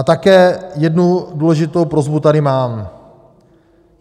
A také jednu důležitou prosbu tady mám.